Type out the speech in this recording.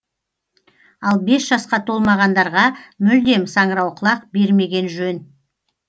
ал бес жасқа толмағандарға мүлдем саңырауқұлақ бермеген жөн